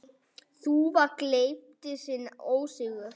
Þúfa gleypti sinn ósigur.